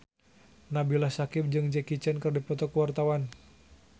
Nabila Syakieb jeung Jackie Chan keur dipoto ku wartawan